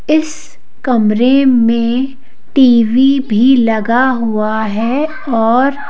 इस कमरे में टी_वी भी लगा हुआ है और--